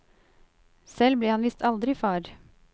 Selv ble han visst aldri far.